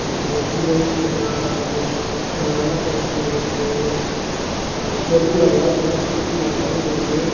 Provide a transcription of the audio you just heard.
जैसे चिरई के बा कोनो खिलौना टाइप के बाते आ टेबुल लगावल बा कुर्सी लगावल बाटे।